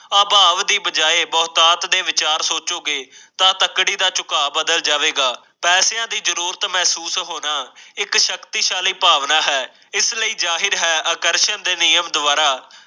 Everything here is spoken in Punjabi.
ਆਭਾਵ ਦੀ ਬਜਾਏ ਬਹੁਤਾਤ ਦੇ ਵਿਚਾਰ ਸੋਚੋਗੇ ਤਾਂ ਤੱਕੜੀ ਦਾ ਝੁਕਾਅ ਬਦਲ ਜਾਵੇਗਾਪੈਸਿਆਂ ਦੀ ਜ਼ਰੂਰਤ ਮਹਿਸੂਸ ਹੋਣਾ ਇੱਕ ਸ਼ਕਤੀਸ਼ਾਲੀ ਭਾਵਨਾ ਹੈ ਇਸ ਲਈ ਇਹ ਜ਼ਾਹਿਰ ਹੈ ਅਕਸ਼ੈ ਦੇ ਨਿਯਮ ਦੁਆਰਾ